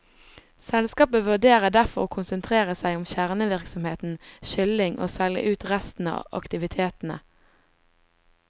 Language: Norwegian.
Selskapet vurderer derfor å konsentrere seg om kjernevirksomheten, kylling, og selge ut resten av aktivitetene.